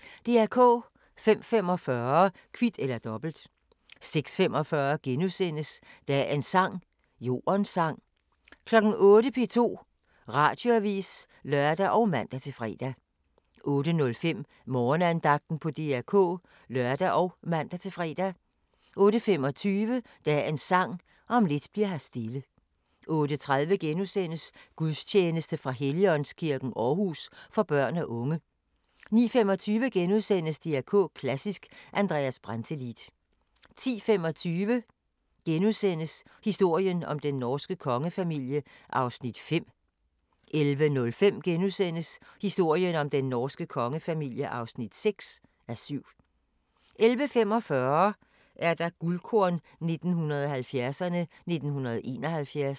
05:45: Kvit eller Dobbelt 06:45: Dagens sang: Jordens sang * 08:00: P2 Radioavis (lør og man-fre) 08:05: Morgenandagten på DR K (lør og man-fre) 08:25: Dagens Sang: Om lidt bli'r her stille 08:30: Gudstjeneste fra Helligåndskirken, Aarhus, for børn og unge. * 09:25: DR K Klassisk: Andreas Brantelid * 10:25: Historien om den norske kongefamilie (5:7)* 11:05: Historien om den norske kongefamilie (6:7)* 11:45: Guldkorn 1970'erne: 1971